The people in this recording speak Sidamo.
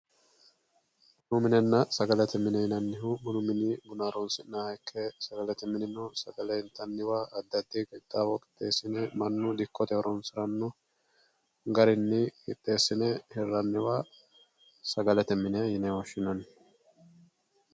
Bunu minnena sagalete mine yinanihu bunu mini buna horosiniha ike sagalete minino sagalete intaniwa adi adi qixawo asine manu horo asano garini qixesine hiranniwa sagalete mine yine woshinanni